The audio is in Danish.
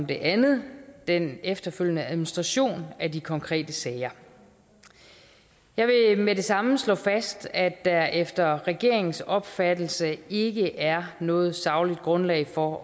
det andet den efterfølgende administration af de konkrete sager jeg vil med det samme slå fast at der efter regeringens opfattelse ikke er noget sagligt grundlag for